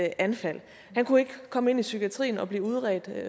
anfald han kunne ikke komme ind i psykiatrien og blive udredt